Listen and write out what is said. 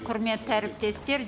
құрметті әріптестер